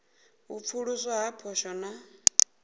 u pfuluswa ha poswo na